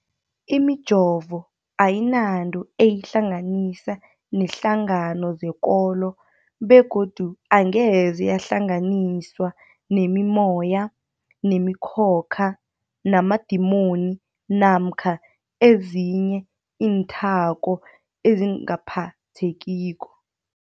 Imijovo ayinanto eyihlanganisa neenhlangano zekolo begodu angeze yahlanganiswa nemimoya, nemi khokha, namadimoni namkha ezinye iinthako ezingaphathekiko.